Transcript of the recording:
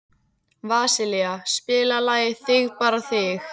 Vasilia, spilaðu lagið „Þig bara þig“.